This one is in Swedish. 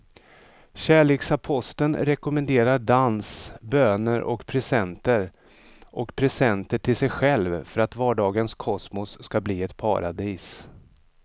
Kärleksaposteln rekommenderar dans, böner och presenter och presenter till sig själv för att vardagens kosmos ska bli ett paradis.